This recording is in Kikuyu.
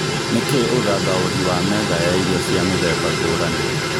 nĩ kĩĩ ũthathaũrĩ wa metha ya irio cia mĩthemba ngũrani